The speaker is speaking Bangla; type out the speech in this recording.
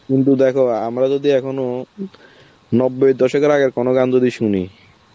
কিন্তু দেখো আমরা যদি এখনও নব্বই দশকের আগের কোনো গান যদি শুনি,